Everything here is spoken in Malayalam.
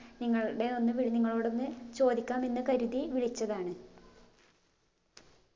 നിങ്ങൾടെ ഒന്ന് വ് നിങ്ങളോടൊന്ന് ചോദിക്കാം എന്ന് കരുതി വിളിച്ചതാണ്